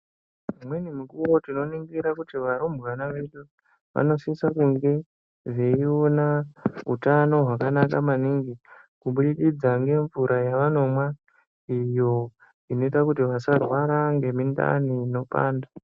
Imweni mikuwo, tinoningira kuti varumbwana vedu vanosisa kunge veiona utano hwakanaka maningi kubudikidza ngemvura yavanomwa iyo inoita kuti vasarwara ngemindani inopanda.